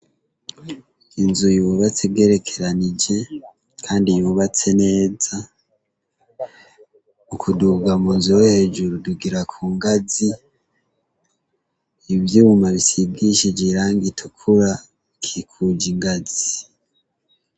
Inzu yubatse igerekeranije kandi yubatse neza , ukuduga mu nzu yo hejuru tudugira ku ngazi, ivyuma bisigishije irangi itukura bikikuje ingazi.